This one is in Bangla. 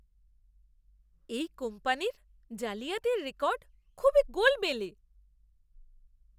এই কোম্পানির জালিয়াতির রেকর্ড খুবই গোলমেলে!